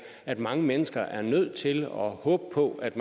at mange mennesker er nødt til at håbe på at